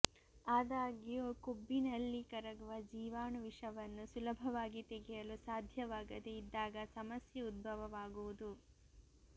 ಆದಾಗ್ಯೂ ಕೊಬ್ಬಿನಲ್ಲಿ ಕರಗುವ ಜೀವಾಣು ವಿಷವನ್ನು ಸುಲಭವಾಗಿ ತೆಗೆಯಲು ಸಾಧ್ಯವಾಗದೆ ಇದ್ದಾಗ ಸಮಸ್ಯೆ ಉದ್ಭವ ಆಗುವುದು